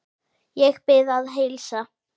Ég bið að heilsa.